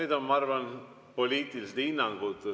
Need on, ma arvan, poliitilised hinnangud.